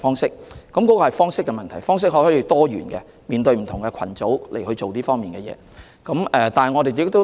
這是方式的問題，我們可以就不同群組，採用多元化的方式進行宣傳。